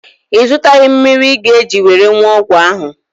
Ị zụtaghị mmiri ị ga-eji were wụọ ọgwụ ahụ?